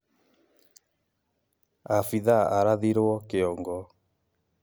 Abitha arathirwo kĩongo